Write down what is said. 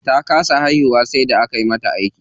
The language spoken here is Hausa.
Ta kasa haihuwa sai da aka mata aiki.